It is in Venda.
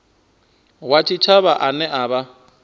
wa tshitshavha ane a vha